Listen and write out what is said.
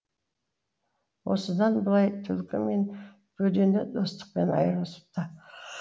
осыдан былай түлкі мен бөдене достықтан айырылысыпты